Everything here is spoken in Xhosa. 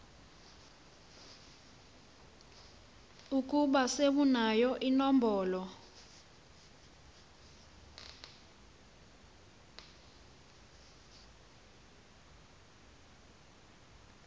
ukuba sewunayo inombolo